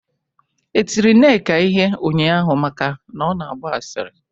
E tiri Nneka ihe ụnyaahụ maka na ọ na-agba asịrị?